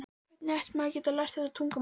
Hvernig gæti maður lært þetta tungumál?